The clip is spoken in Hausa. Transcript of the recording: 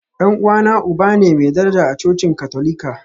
Dan uwana uba ne mai daraja a cocin Katolika.